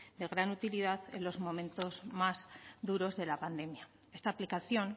de gran utilidad en los momentos más duros de la pandemia esta aplicación